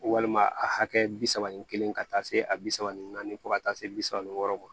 Walima a hakɛ bisa ni kelen ka taa se a bi saba ni naani fo ka taa se bi saba ni wɔɔrɔ ma